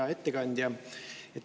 Hea ettekandja!